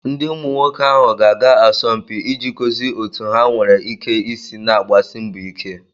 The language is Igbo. Ndị umu nwoke ahụ ga-aga asọmpi iji gosi otú ha nwere ike isi na-agbasi mbọ ike